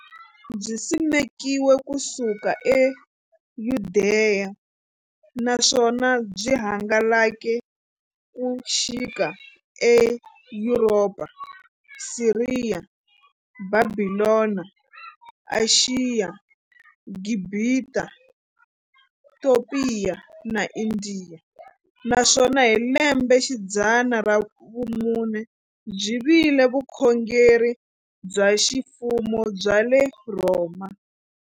Byisimekiwe ku suka eYudeya, naswona byi hangalake ku xika eYuropa, Siriya, Bhabhilona, Ashiya, Gibhita, Topiya na Indiya, naswona hi lembexidzana ra vumune byi vile vukhongeri bya ximfumo bya le Rhoma.